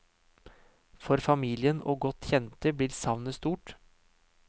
For familien og godt kjente blir savnet stort.